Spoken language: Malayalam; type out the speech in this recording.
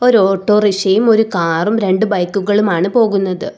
ഒരു ഓട്ടോ റിക്ഷയും ഒരു കാറും രണ്ടു ബൈക്കുകളും ആണ് പോകുന്നത്.